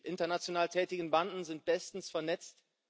Die international tätigen Banden sind bestens vernetzt.